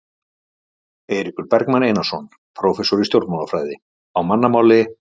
Eiríkur Bergmann Einarsson, prófessor í stjórnmálafræði: Á mannamáli?